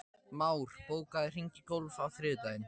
Már, bókaðu hring í golf á þriðjudaginn.